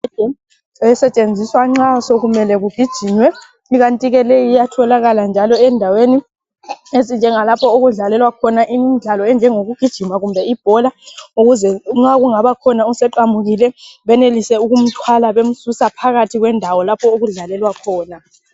Elisetshenziswa nxa sekumele kugijinywe. Ikanti ke leyi iyatholakala njalo endaweni ezinjengalapho okudlalelwa khona, imidlalo enjengokugijima kumbe ibhola. Nxa kungaba khona oseqamukile. Benelise ukumthwala, bemsusa phakathi kundawo lapho okudlalelwa khona.